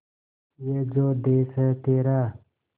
ये जो देस है तेरा